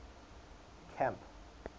camp